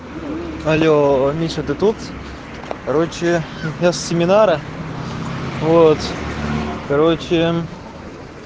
алло миша ты тут короче я с семинара вот короче